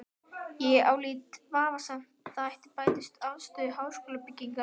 Ég álít vafasamt að það bæti afstöðu háskólabygginganna.